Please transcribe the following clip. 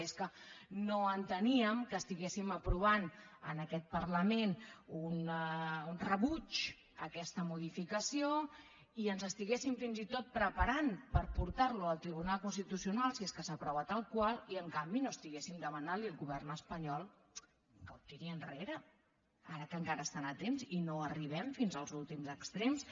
i és que no enteníem que estiguéssim aprovant en aquest parlament un rebuig a aquesta modificació i ens estiguéssim fins i tot preparant per portar·la al tri·bunal constitucional si és que s’aprova tal qual i en canvi no estiguéssim demanant·li al govern espanyol que ho tiri enrere ara que encara hi estan a temps i no arribem fins als últims extrems